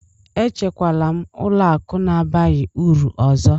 Echekwala m ụlọ akụ na-abaghị uru ọzọ!